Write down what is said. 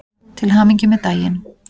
Til hamingju með daginn.